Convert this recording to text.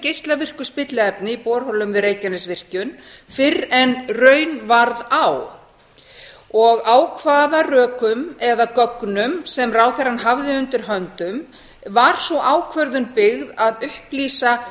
geislavirku spilliefni í borholum við reykjanesvirkjun fyrr en raun varð á á hvaða rökum eða gögnum sem ráðherrann hafði undir höndum var sú ákvörðun byggð að upplýsa